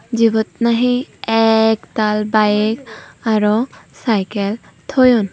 jibot nahi eektaal bike aro cycle toyon.